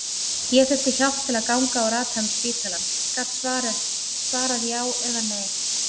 Ég þurfti hjálp til að ganga og rata um spítalann, gat svarað já eða nei.